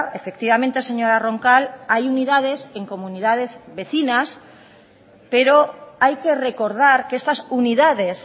efectivamente señora roncal hay unidades en comunidades vecinas pero hay que recordar que estas unidades